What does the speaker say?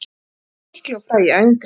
Þessi mikli og frægi ævintýramaður!